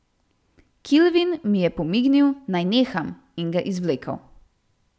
Kilvin mi je pomignil, naj neham, in ga izvlekel.